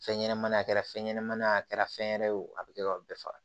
Fɛn ɲɛnɛmani a kɛra fɛn ɲɛnɛmani ye a kɛra fɛn wɛrɛ ye wo a be kɛ ka bɛɛ faga